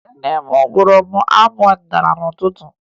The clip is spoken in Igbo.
Nne m gụụrụ m abụ ọdịnaala n'ụtụtụ